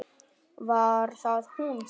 Var það hún sem.?